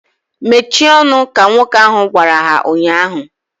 Mechie ọnụ! Ka nwoke ahu gwara ha ụnyaahụ